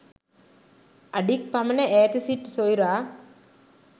අඩි ක් පමණ ඈත සිටි සොයුරා